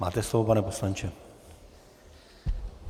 Máte slovo, pane poslanče.